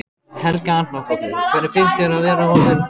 Helga Arnardóttir: Hvernig finnst þér að vera orðinn þingmaður?